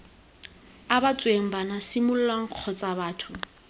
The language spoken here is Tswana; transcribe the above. abetsweng bana semolao kgotsa batho